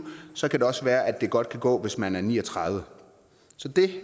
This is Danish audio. så kan det også være at det godt kan gå hvis man ni og tredive så det